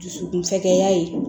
Dusukun fɛkɛya ye